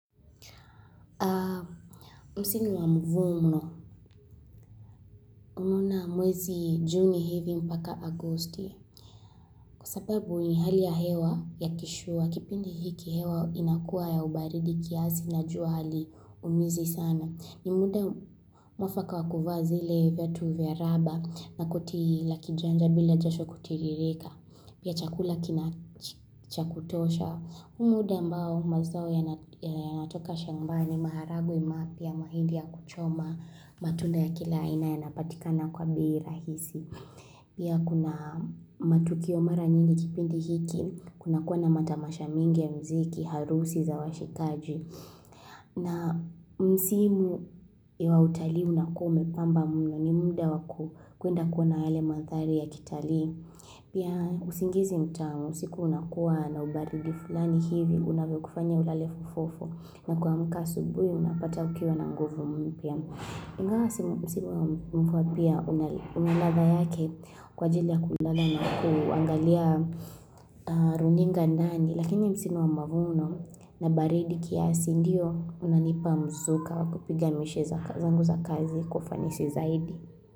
Msimu wa mvumno, muna mwezi juni hivi mpaka agusti kwa sababu ni hali ya hewa ya kishuwa kipindi hiki hewa inakua ya ubaridi kiasi na jua haliumizi sana. Ni muda mwafaka wa kuvaa zile vyatu vya raba na koti la kijanja bila jasho kutiririka. Pia chakula cha kutosha. Huu muda ambao mazao yanatoka shambani maharagwe mapya mahindi ya kuchoma matunda ya kila aina yanapatikana kwa bei rahisi. Pia kuna matukio mara nyingi kipindi hiki, kuna kuwa na matamasha mingi mziki, harusi za washikaji. Na msimu ya utalii unakuwa umepamba mno ni muda wa kuenda kuona yale mandhari ya kitali. Pia usingizi mtamu, usiku unakuwa na ubaridi fulani hivi, unavyokufanya ulale fofofo. Na kuamka asubui, unapata ukiwa na nguvu mpya. Ingawa msimu wa mvua pia unaladha yake kwa ajili ya kulala na kuangalia runinga ndani Lakini msimu wa mavuno na baridi kiasi ndiyo unanipa mzuka wa kupiga mishe zangu kazi kwa ufanisi zaidi.